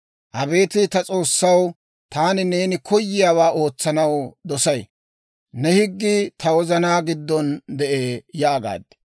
Abeet ta S'oossaw, taani neeni koyiyaawaa ootsanaw dosay; ne higgii ta wozanaa giddon de'ee» yaagaad.